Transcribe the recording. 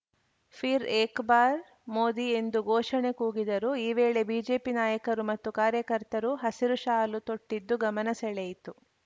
ಫಿರ್‌ ಏಕ್‌ ಬಾರ್‌ ಮೋದಿ ಎಂದು ಘೋಷಣೆ ಕೂಗಿದರು ಈ ವೇಳೆ ಬಿಜೆಪಿ ನಾಯಕರು ಮತ್ತು ಕಾರ್ಯಕರ್ತರು ಹಸಿರು ಶಾಲು ತೊಟ್ಟಿದ್ದು ಗಮನ ಸೆಳೆಯಿತು